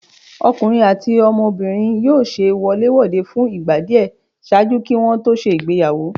Ọkunrin ati ọmọbirin yóò ṣe wolé-wodé fun igba diẹ ṣaaju ki wọn to ṣe ìgbéyàwó.